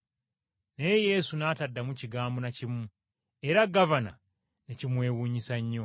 Naye Yesu n’ataddamu kigambo na kimu, era gavana ne kimwewuunyisa nnyo.